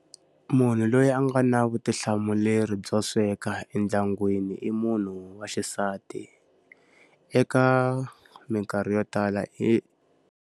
Munhu loyi a nga na vutihlamuleri byo sweka endyangwini i munhu wa xisati. Eka minkarhi yo tala i.